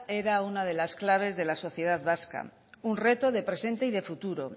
era una de las claves de la sociedad vasca un reto de presente y de futuro